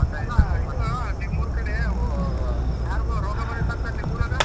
ಇದು ನಿಮ್ಮೂರ್ ಕಡೆ ಅವು ಯಾರಿಗೊ ರೋಗ ಬಂದಿತ್ತಂತಾ ನಿಮ್ಮೂರಾಗ?